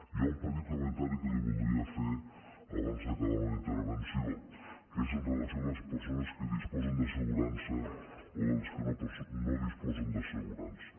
hi ha un petit comentari que li voldria fer abans d’acabar la meva intervenció que és amb relació a les persones que disposen d’assegurança o les que no disposen d’assegurança